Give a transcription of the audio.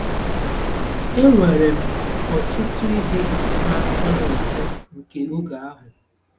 Enwere m ọtụtụ ihe na-atọ m ụtọ nke oge ahụ.